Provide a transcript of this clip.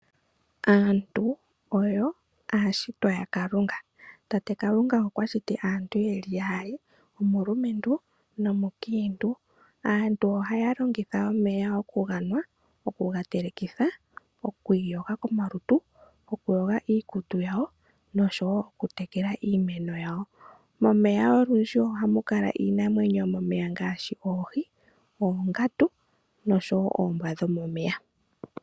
Aantu oyo aashitwa ya Kalunga. Tate kalunga okwa shiti aantu yeli yaali gumwe omulumentu gumwe omukiintu. Aantu ohaya longitha omeya oku ganwa ,okuga telekitha ,oku yoga komalutu ,okuyoga iikutu yawo noshowo okutekela iimeno yawo. Momeya olundji ohamu kala iinamwenyo ngaashi oongandu noshowo oombwa dho momeya.